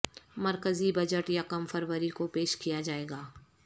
مرکزی بجٹ یکم فروری کو پیش کیا جائے گا